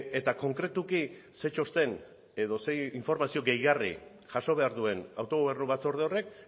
eta konkretuki zein txosten edo zein informazio gehigarri jaso behar duen autogobernu batzorde horrek